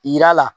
Yira a la